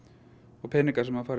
og peningar sem fara í